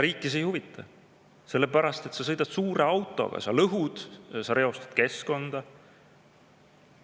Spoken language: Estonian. Riiki see ei huvita, sellepärast et sa sõidad suure autoga, sa lõhud, sa reostad keskkonda.